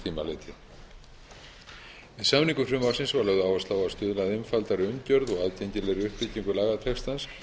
litið við samningu frumvarpsins var lögð áhersla á að stuðla að einfaldri umgjörð og aðgengilegri uppbyggingu lagatextans